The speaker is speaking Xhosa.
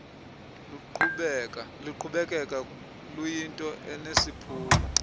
luqhubekeka luyinto enesiphumo